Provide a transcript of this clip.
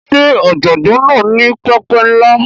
Ṣé ọ̀jọ̀gbọ́n náà ní pẹpẹ ńlá?